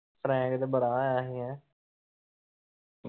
Frank ਤੇ ਬੜ੍ਹਾ ਹੋਇਆ ਸੀ ਹੈ ।